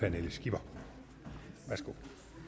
pernille skipper værsgo